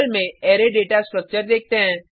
में array data structure देखते हैं